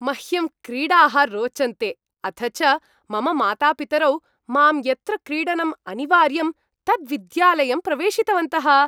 मह्यं क्रीडाः रोचन्ते, अथ च मम मातापितरौ मां यत्र क्रीडनम् अनिवार्यम् तद्विद्यालयं प्रवेशितवन्तः।